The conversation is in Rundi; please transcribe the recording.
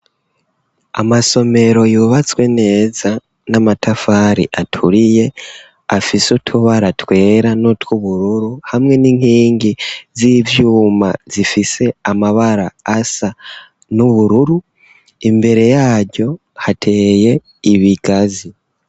Amasomero yubatswe neza n'amatafari aturiye afise utubara twera no tw'ubururu hamwe n'inkingi z'ivyuma zifise amabara asa n'ubururu imbere yaryo hateye ibigazi.